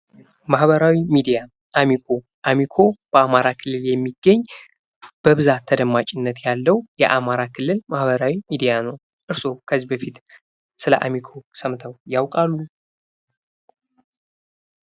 ማህበራዊ ሚዲያ አሚኮ አሚኮ በአማራ ክልል የሚገኝ በብዛት ተደማጭነት ያለው የአማራ ክልል ማህበራዊ ሚዲያ ነው። እርስዎ ከዚህ በፊት ስለ አሚኮ ሰምተው ያውቃሉ?